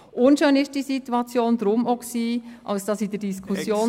Unschön war die Situation auch deshalb, weil...